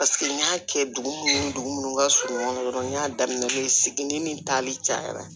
Paseke n y'a kɛ dugu munnu ni dugu munnu ka surun kɔnɔ dɔrɔn n y'a daminɛ sigini min taali cayara